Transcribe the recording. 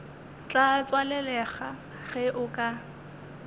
tla tswalelega ge o ka